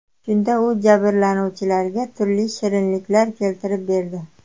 Shunda u jabrlanuvchilarga turli shirinliklar keltirib berdi.